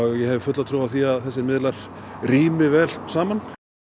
ég hef fulla trú á því að þessir miðlar rími vel saman